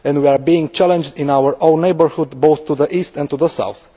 And we are being challenged in our own neighbourhood, both to the east and to the south.